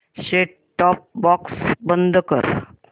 set top box बंद कर